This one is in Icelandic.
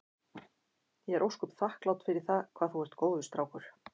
Ég er ósköp þakklát fyrir það hvað þú ert góður strákur.